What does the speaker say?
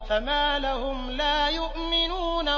فَمَا لَهُمْ لَا يُؤْمِنُونَ